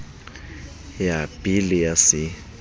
ya b le ya c